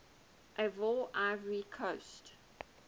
ivoire ivory coast